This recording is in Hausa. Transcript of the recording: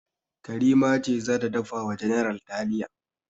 Karima ce za ta dafa wa general taliya.